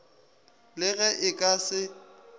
le ge e ka se